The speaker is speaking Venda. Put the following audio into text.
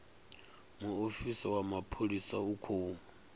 muofisi wa mapholisa u khou